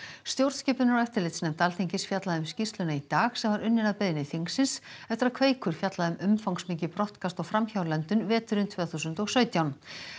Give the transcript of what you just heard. stjórnskipunar og eftirlitsnefnd Alþingis fjallaði um skýrsluna í dag sem var unnin að beiðni þingsins eftir að Kveikur fjallaði um umfangsmikið brottkast og framhjálöndun veturinn tvö þúsund og sautján